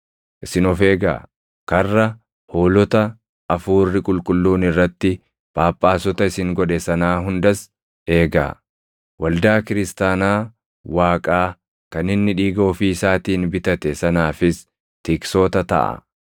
Isin of eegaa; karra hoolota Hafuurri Qulqulluun irratti Phaaphaasota isin godhe sanaa hundas eegaa. Waldaa Kiristaanaa Waaqaa kan inni dhiiga ofii isaatiin bitate sanaafis tiksoota taʼaa.